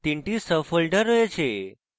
তিনটি sub folders রয়েছে